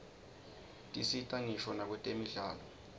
tisita ngisho nakwetemidlalo